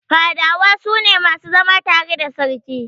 Fadawa su ne masu zama tare da Sarki.